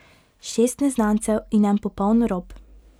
Šest neznancev in en popoln rop.